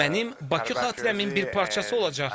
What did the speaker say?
Bu mənim Bakı xatirəmin bir parçası olacaq.